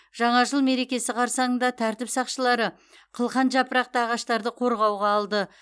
жаңа жыл мерекесі қарсаңында тәртіп сақшылары қылқан жапырақты ағаштарды қорғауға алды